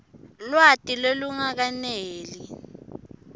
lwati lolungakeneli